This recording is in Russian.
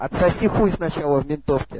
отсоси хуй сначала в ментовке